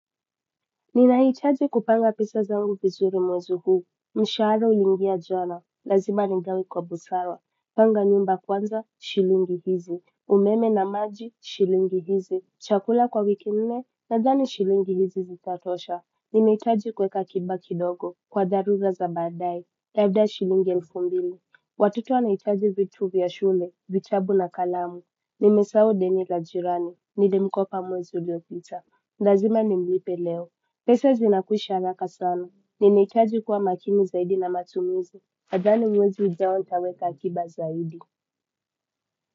Ninahitaji kupanga pesa zangu vizuri mwezi huu. Mshahara ulingia jana. Lazima ningawe kwa busara. Panga nyumba kwanza shilingi hizi umeme na maji shilingi hizi chakula kwa wiki nne nadhani shilingi hizi zitatosha. Ninaitaji kweka akiba kidogo. Kwa dharura za badaae labda shilingi elfu mbili watoto wanahitaji vitu vya shule vitabu na kalamu. Nimesahau deni la jirani. Nilimkopa mwezi uliopita lazima nimlipe leo. Pesa zinakwisha haraka sana. Ninahitaji kuwa makini zaidi na matumizi. Nadhani mwezi ujao nitaweka akiba zaidi.